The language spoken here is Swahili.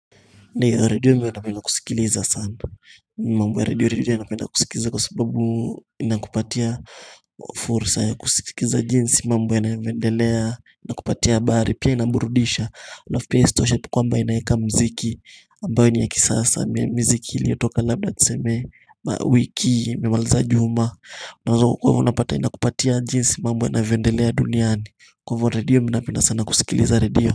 Ndiyo redio minapenda kusikiliza sana. Mambo ya redio, redio napenda kusikiliza kwa sababu ina kupatia fursa ya kusikiliza jinsi mambo yanavyoendelea inakupatia habari pia inaburudisha. Alafu pia isitoshe kwamba inaweka mziki ambayo ni ya kisasa miziki iliyotoka labda tuseme wiki imilemaliza juma. Unaweza kwa hivyo inakupatia jinsi mambo yanavyo endelea duniani. Kwa hivyo redio minapenda sana kusikiliza redio.